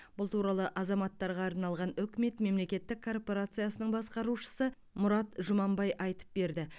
бұл туралы азаматтарға арналған үкімет мемлекеттік корпорациясының басқарушы мұрат жұманбай айтып берді